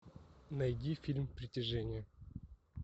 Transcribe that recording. найди фильм притяжение